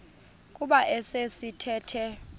kuba esi sithethe